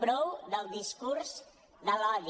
prou del discurs de l’odi